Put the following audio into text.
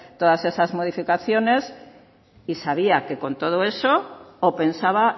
todas esas modificaciones y sabía que con todo eso o pensaba